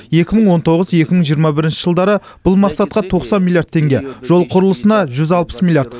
екі мың он тоғыз екі мың жиырма бірінші жылдары бұл мақсатқа тоқсан миллиард теңге жол құрылысына жүз алпыс миллиард